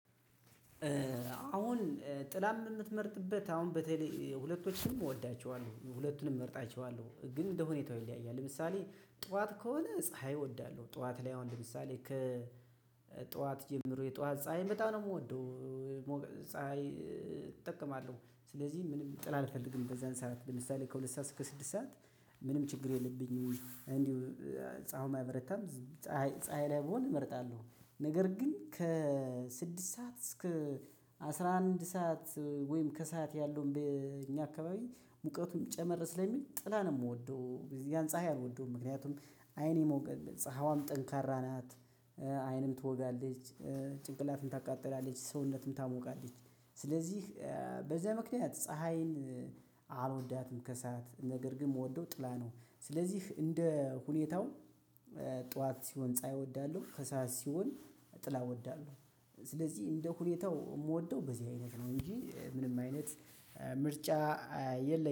አሁን ጥላን የምትመርጥበት አሁን በተለይ ሁለቶቹንም እወዳቸዋለሁ ሁለቱንም እመርጣቸዋለሁ። ግን እንደ ሁኔታው ይለያያል። ለምሳሌ ጠዋት ከሆነ ፀሀይ እወዳለሁ። ጠዋት ላይ አሁን ለምሳሌ ከ ጠዋት ጀምሮ የጠዋት ፀሀይ በጣም ነው የምወደው ፀሀይ እጠቀማለሁ። ስለዚህ ምንም ጥላ አልፈልግም በዛን ሰዓት ለምሳሌ ከሁለት ሰዓት እስከ ስድስት ሰዓት ምንም ችግር የለብኝም። እንዲው ፀሀዩም አይበረታም ፀሀይ ፀሀይ ላይ ብሆን እመርጣለሁ። ነገር ግን ከስድስት ሰዓት እስከ አስራ አንድ ሰዓት ወይም ከሰአት ያለውን በእኛ አካባቢ ሙቀቱም ጨመር ስለሚል ጥላ ነው የምወደው። ያን ፀሀይ አልወደውም። ምክንያቱም አይኔ ይወጋል ፀሀያዋም ጠንካራ ናት፣ አይንን ትወጋለች፣ ጭንቅላትን ታቃጥላለች፣ ሰውነትን ታሞቃለች። ስለዚህ በዛ ምክንያት ፀሀይን አልወዳትም ከሰአት። ነገር ግን የምወደው ጥላ ነው። ስለዚህ እንደ ሁኔታው ጠዋት ሲሆን ጻይ እወዳለሁ። ከሰአት ሲሆን ጥላ እወዳለሁ። ስለዚህ እንደ ሁኔታው የምወደው በዚህ አይነት ነው እንጂ ምንም አይነት ምርጫ የለኝም።